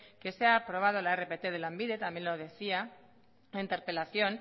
que se ha aprobado la rpt de lanbide también lo decía en la interpelación